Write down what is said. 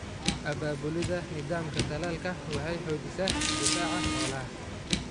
Abaabulida nidaamka talaalka waxay xoojisaa difaaca xoolaha.